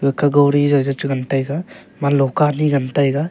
aka gowri jawjaw chengan taiga ema lokah anyi ngan taiga.